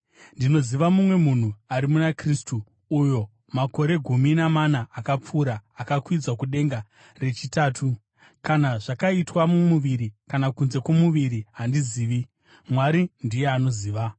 Ndinoziva mumwe munhu ari muna Kristu, uyo makore gumi namana akapfuura akakwidzwa kudenga rechitatu. Kana zvakaitwa mumuviri kana kunze kwomuviri handizivi, Mwari ndiye anoziva.